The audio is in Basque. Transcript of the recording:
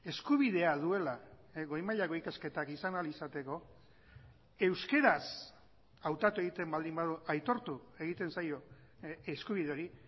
eskubidea duela goi mailako ikasketak izan ahal izateko euskeraz hautatu egiten baldin badu aitortu egiten zaio eskubide hori